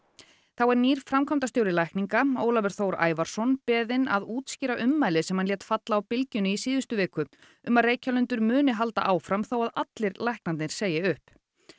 þá er nýr framkvæmdastjóri lækninga Ólafur Þór Ævarsson beðinn að útskýra ummæli sem hann lét falla á Bylgjunni í síðustu viku um að Reykjalundur muni halda áfram þó að allir læknarnir segi upp